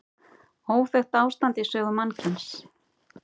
Óþekkt ástand í sögu mannkyns